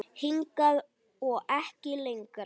Hingað og ekki lengra.